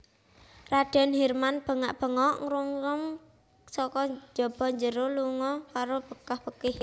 Radèn Hirman bengak bengok ngungrum saka jaba banjur lunga karo bekah bekih